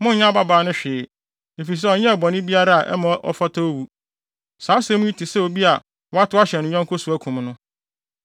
Monnyɛ ababaa no hwee, efisɛ ɔnyɛɛ bɔne biara a ɛma ɔfata owu. Saa asɛm yi te sɛ obi a watow ahyɛ ne yɔnko so akum no,